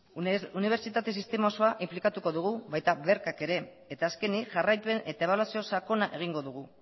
unibertsitatea sistema osoa inplikatuko dugu baita bercak ere eta azkenik jarraipen eta ebaluzio sakona egingo dugu